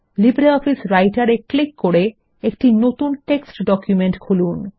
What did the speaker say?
LibreOffice রাইটের এ click করে একটি নতুন টেক্সট ডকুমেন্ট খুলুন